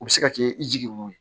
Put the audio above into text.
U bɛ se ka kɛ i jiginn'o ye